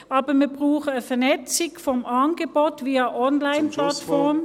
Aber wir brauchen eine Vernetzung des Angebots via Onlineplattform.